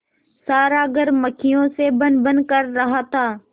सारा घर मक्खियों से भनभन कर रहा था